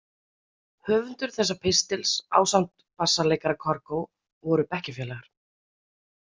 Höfundur þessa pistils, ásamt bassaleikara Kargó, voru bekkjarfélagar.